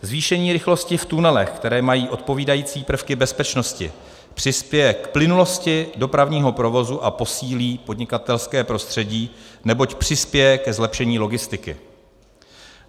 Zvýšení rychlosti v tunelech, které mají odpovídající prvky bezpečnosti, přispěje k plynulosti dopravního provozu a posílí podnikatelské prostředí, neboť přispěje ke zlepšení logistiky.